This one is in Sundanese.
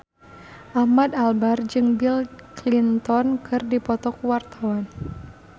Ahmad Albar jeung Bill Clinton keur dipoto ku wartawan